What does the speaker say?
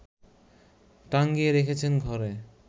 টাঙিয়ে রেখেছেন ঘরে